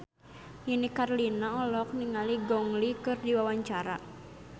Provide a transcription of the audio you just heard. Nini Carlina olohok ningali Gong Li keur diwawancara